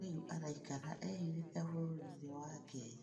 Rĩũ araĩkara ehĩthĩte bũrũrĩ-ĩnĩ wa Kenya